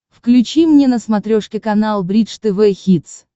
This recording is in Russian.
включи мне на смотрешке канал бридж тв хитс